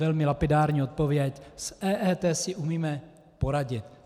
Velmi lapidární odpověď - s EET si umíme poradit.